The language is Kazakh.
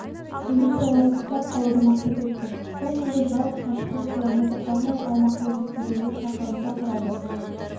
позицияларын ұстап қалуды мақсат етті бұл күнгі жалпы қашықтық км арнайы аумақты есептегенде шақырымды құрады